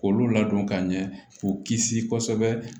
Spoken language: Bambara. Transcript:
K'olu ladon ka ɲɛ k'u kisi kosɛbɛ